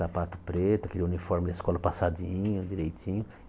Sapato preto, aquele uniforme da escola passadinho, direitinho.